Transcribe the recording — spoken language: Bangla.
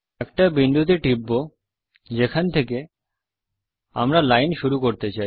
একটা বিন্দুতে টিপব যেখান থেকে আমরা লাইন শুরু করতে চাই